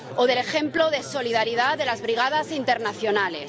O del ejemplo de solidaridad de las Brigadas Internacionales.